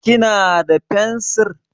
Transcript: Kina da fensir?